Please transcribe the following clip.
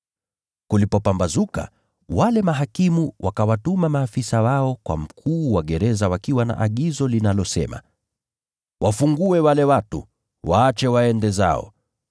Kulipopambazuka wale mahakimu wakawatuma maafisa wao kwa mkuu wa gereza wakiwa na agizo linalosema, “Wafungue wale watu, waache waende zao.”